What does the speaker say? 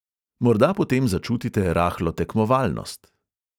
Morda potem začutite rahlo tekmovalnost.